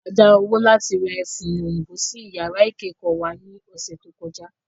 A dá owó láti ra ẹfun òyìnbó sí yàrá ìkẹ́kọ̀ọ́ wa ní ọ̀sẹ̀ tó kọjá